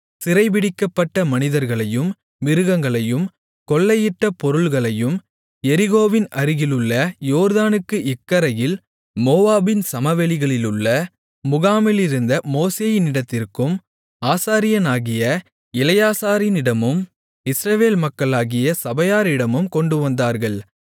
சிறைப்பிடிக்கப்பட்ட மனிதர்களையும் மிருகங்களையும் கொள்ளையிட்ட பொருள்களையும் எரிகோவின் அருகிலுள்ள யோர்தானுக்கு இக்கரையில் மோவாபின் சமவெளிகளிலுள்ள முகாமிலிருந்த மோசேயினிடத்திற்கும் ஆசாரியனாகிய எலெயாசாரினிடமும் இஸ்ரவேல் மக்களாகிய சபையாரிடமும் கொண்டுவந்தார்கள்